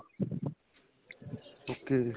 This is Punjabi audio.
okay ਜੀ